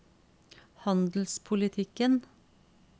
handelspolitikken